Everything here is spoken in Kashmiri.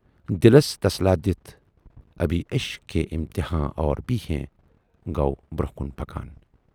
دِلس تسلاہ دِتھ"ابھی عشق کے امتحان اور بھی ہیں" گَو برونہہ پکان۔